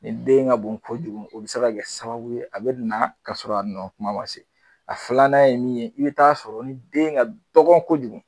Ni den ka bon kojugu o bi se kɛ sababu ye, a bɛ na ka sɔrɔ a nɔ kuma ma se, a filanan ye min ye, i bi taa sɔrɔ ni den ka dɔgɔ kojugu